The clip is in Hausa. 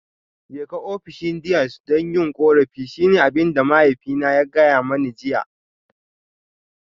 Jeka ofishin Deans don yin korafi shine abin da mahaifina ya gaya mani jiya